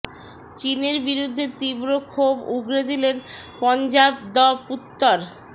চিনের বিরুদ্ধে তীব্র ক্ষোভ উগড়ে দিলেন পঞ্জাব দ্য পুত্তর